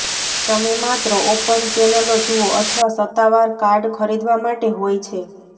તમે માત્ર ઓપન ચેનલો જુઓ અથવા સત્તાવાર કાર્ડ ખરીદવા માટે હોય છે